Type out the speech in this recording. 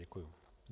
Děkuji.